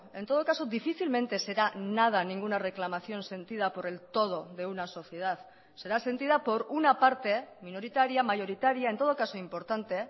en todo caso difícilmente será nada ninguna reclamación sentida por el todo de una sociedad será sentida por una parte minoritaria mayoritaria en todo caso importante